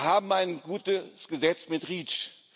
Wir haben ein gutes Gesetz mit REACH.